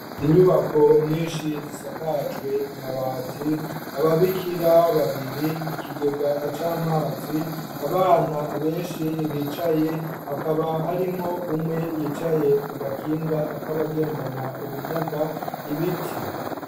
Inyubako nyinshi zisakajwe amabati, ababikira babiri, ikigega c'amazi, abana benshi bicaye, hakaba harimwo umwe yicaye ku gakinga kabagendana ubumuga, ibiti.